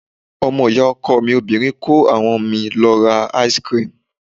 Ọmọ ìyá ọkọ mi obìnrin kó àwọn mi lọ ra ice cream.